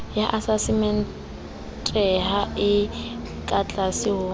ya asasementeha e katlase ho